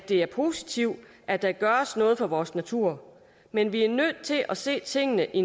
er positivt at der gøres noget for vores natur men vi er nødt til at se tingene i